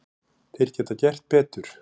Þeir geta gert betur.